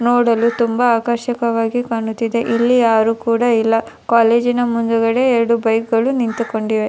ನೋಡಲು ತುಂಬ ಆಕರ್ಷಕವಾಗಿ ಕಾಣುತ್ತಿದೆ ಇಲ್ಲಿ ಯಾರು ಕೂಡ ಇಲ್ಲ ಕೋಲೇಜಿ ನ ಮುಂದುಗಡೆ ಎರಡಿ ಬೈಕು ಗಳು ನಿಂತುಕೊಂಡಿವೆ.